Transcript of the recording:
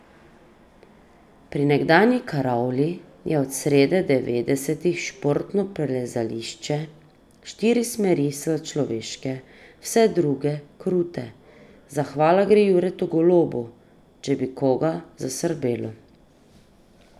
Pri nekdanji karavli je od srede devetdesetih športno plezališče, štiri smeri so človeške, vse druge krute, zahvala gre Juretu Golobu, če bi koga zasrbelo.